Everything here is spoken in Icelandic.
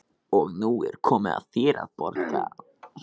Og nú er komið að þér að borga.